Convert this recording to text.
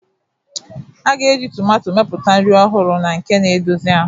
A ga-eji tomato mepụta nri ọhụrụ na nke na-edozi ahụ.